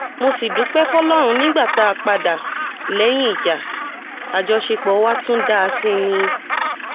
mo sì dúpẹ́ fọlọ́run nígbà tá a padà lẹ́yìn ìjà àjọṣepọ̀ wa tún dáa sí i ni